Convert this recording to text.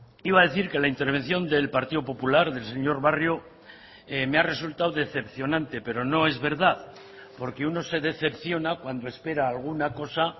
iba a decir que la intervención del partido popular del señor barrio me ha resultado decepcionante pero no es verdad porque uno se decepciona cuando espera alguna cosa